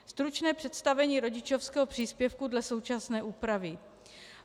Stručné představení rodičovského příspěvku dle současné úpravy.